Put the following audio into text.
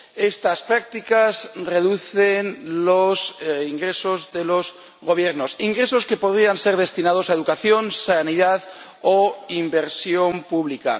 Estas prácticas reducen los ingresos de los gobiernos, ingresos que podrían ser destinados a educación, sanidad o inversión pública.